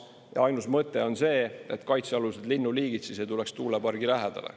Ja ainus mõte on see, et kaitsealused linnuliigid ei tuleks tuulepargi lähedale.